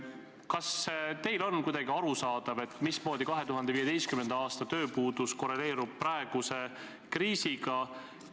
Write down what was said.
Kas teie jaoks on kuidagi arusaadav, mismoodi 2015. aasta tööpuudus korreleerub praeguse kriisiga?